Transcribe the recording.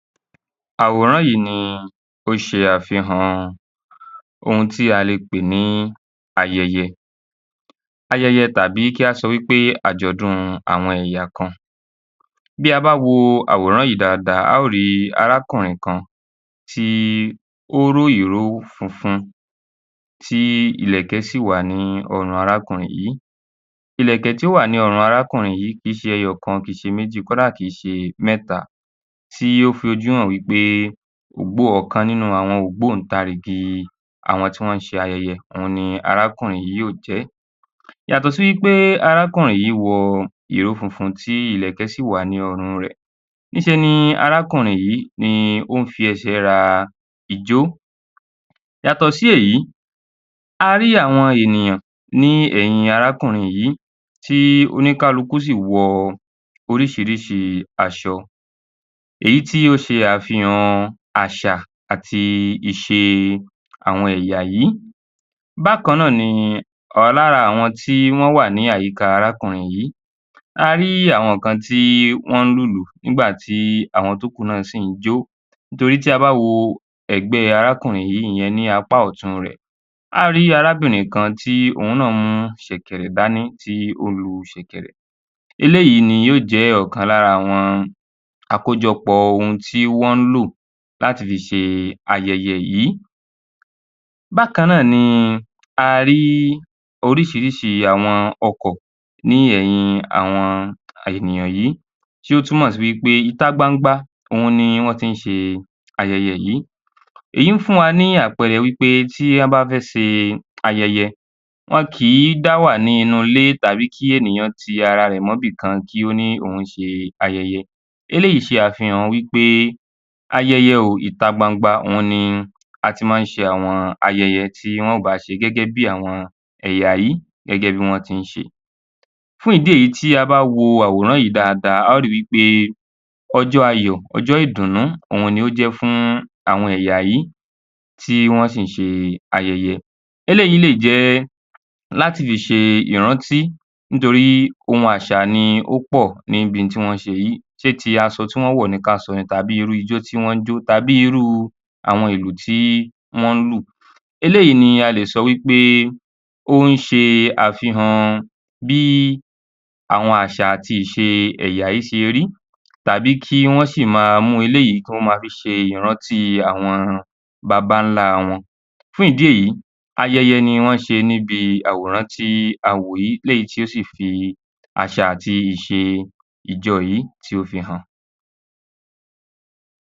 Àwòràn yìí ni ó ń ṣe àfihàn ayẹyẹ tàbí Àwòràn yìí ni ó ṣe àfihàn ohun tí a lè pè ní ayẹyẹ tàbí kí á sọ wí pé àjọ̀dún àwọn ẹ̀yà kan. Bí a bá wo àwòrán yìí dáadáa, a ó rìí arákùnrin kan tí ó ró ìró funfun tí ìlẹ̀kẹ̀ sì wà ní ọrùn arákùnrin yìí, ìlẹ̀kẹ̀ tí ó wà ní ọrùn arákùnrin yìí kì í ṣe ẹyọ̀kan, kì í ṣe méjì, kó dà kì í ṣe mẹ́ta tí ó fi ojú hàn wí pé ọ̀kan nínú ògbóǹtarìgì àwọn tí wọ́n ṣe ayẹyẹ òun ni arákùnrin yìí yóò jẹ́. Yàtọ̀ sí wí pé arákùnrin yìí wọ ìró funfun tí ìlẹ̀kẹ̀ sì wà ní ọrùn rẹ̀, ní ṣe ní arákùnrin yìí ó ń fi ẹsẹ̀ ra ijó. Yàtọ̀ sí èyí, a rí àwọn ènìyàn ní ẹ̀yin arákùnrin yìí tí oníkálukù sì wọ oríṣiríṣi aṣọ èyí tí ó ṣe àfihàn àṣà àti ìṣe àwọn ẹ̀yà yí. Bákan náà ni lára àwọn tí wọ́n wà ní àyíká arákùnrin yìí, a rí àwọn kan tí wọ́n ń lu ìlù nígbà tí àwọn tí ó kù náà sì ń jó, torí tí a bá wo ẹ̀gbẹ́ arákùnrin yìí ìyẹn ní apá ọ̀tún rẹ̀, a ó rìí arábìnrin kan tí òun náà mú ṣẹ̀kẹ̀rẹ̀ dání tí ó ń lu ṣẹ̀kẹ̀rẹ̀, eléyìí ni ó jẹ́ ọ̀kan lára àwọn àkójọpọ̀ ohun tí wọ́n ń lò láti fi ṣe ayẹyẹ yìí. Bákan náà ni a rí oríṣiríṣi àwọn ọkọ̀ ní ẹ̀yìn àwọn ènìyàn yí tí ó túmọ̀ si wí pé ìta gbangba òhun ni wọ́n tín ṣe ayẹyẹ yìí. Èyí fún wa ní àpẹẹrẹ wí pé tí wọ́n bá fẹ́ ṣe ayẹyẹ, ẉon kì í dá wà nínú ilé tàbí kí ènìyàn ti ara rẹ̀ mọ́ ibìkan kí ó ní òún ṣe ayẹyẹ. Eléyìí ṣe àfihàn wí pé ayẹyẹ o, ìta gbangba òhun ni a tín ma ń ṣe àwọn ayẹyẹ tí wọ́n bá á ṣe gẹ́gẹ́ bí àwọn ẹ̀yà yí tín ṣe. Fún ìdí èyí, tí a bá wo àwòràn yìí dáadáa a ó ri wí pé ọjọ́ ayọ̀, ọjọ́ ìdùnú òhun ni ó jẹ́ fún àwọn ẹ̀yà yí tí wọ́n sì ń ṣe ayẹyẹ. Eléyìí lè jẹ́ láti fi ṣe ìrántí nítorí ohun àṣà ni ó pọ̀ níbi ohun tí wọ́n ń ṣe yìí. Ṣé ti aṣọ tí wọ́n wò ni ká sọ ni tàbí irú ijó tí wọ́n ń jó tàbí irú àwọn ìlù tí wọ́n ń lò. Eléyìí ni a lè sọ wí pé ó ń ṣe àfihàn bí àwọn àṣà àti ìṣe àwọn èyà yí ṣe rí tàbí kí wọ́n sì ma mú eléyìí kí wọ́n ma fi ṣe ìrántí àwọn bàbà ńlá wọn. Fún ìdí èyí, ayẹyẹ ni wọ́n ń ṣe níbi àwòràn tí a wò yí, eléyìí tí ó sì fi àṣà ati ìṣe ìjọ yìí tí ó fi hàn.